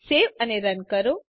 save અને run કરો